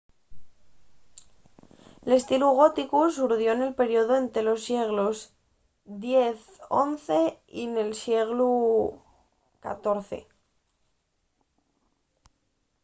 l'estilu góticu surdió nel periodu ente los sieglos x-xi y el sieglu xiv